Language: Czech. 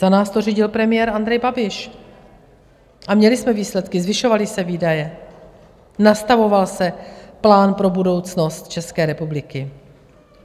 Za nás to řídil premiér Andrej Babiš a měli jsme výsledky, zvyšovaly se výdaje, nastavoval se plán pro budoucnost České republiky.